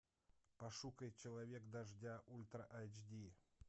пошукай человек дождя ультра айч ди